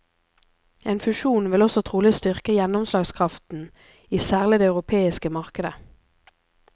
En fusjon vil også trolig styrke gjennomslagskraften i særlig det europeiske markedet.